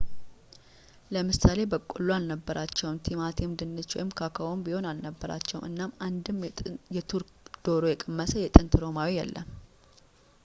ለምሳሌ በቆሎ አልነበራቸውም ቲማቲም ድንች ወይም ኮኮዋም ቢሆን አልነበራቸውም እናም አንድም የቱርክ ዶሮ የቀመሰ የጥንት ሮማዊ የለም